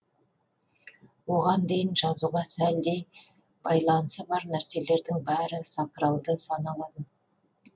оған дейін жазуға сәлдей байланысы бар нәрселердің бәрі сакралды саналатын